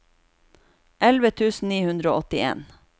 elleve tusen ni hundre og åttien